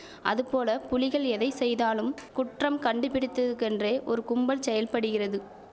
அதுபோலப் புலிகள் எதை செய்தாலும் குற்றம் கண்டுபிடித்தற்கென்றே ஒரு கும்பல் செயற்படுகிறது